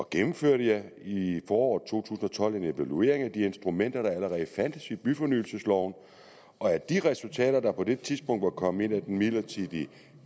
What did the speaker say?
gennemførte jeg i i foråret to tusind og tolv en evaluering af de instrumenter der allerede fandtes i byfornyelsesloven og af de resultater der på det tidspunkt var kommet ind af den midlertidige